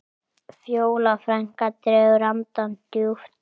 Fjóla frænka dregur andann djúpt.